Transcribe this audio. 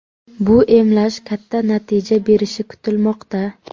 Bu emlash katta natija berishi kutilmoqda.